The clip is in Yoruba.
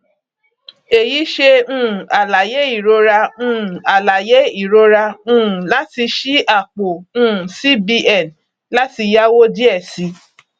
èyí ṣe um àlàyé ìrora um àlàyé ìrora um láti ṣí àpò um cbn láti yáwó díẹ sí